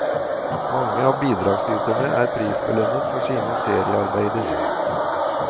Mange av bidragsyterne er prisbelønnet for sine seriearbeider.